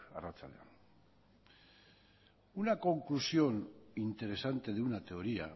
arratsalde on una conclusión interesante de una teoría